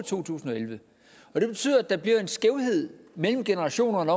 to tusind og elleve og det betyder at der bliver en skævhed mellem generationerne